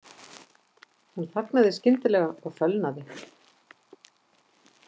Hún þagnaði skyndilega og fölnaði.